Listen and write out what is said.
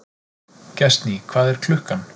Gestný, hvað er klukkan?